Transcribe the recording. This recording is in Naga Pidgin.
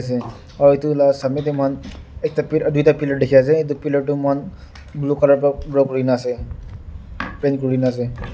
dey aru itu la samey tey ekta pil duita pillar dikhi ase itu pillar toh muihan blue color wa kurina ase paint kurina ase.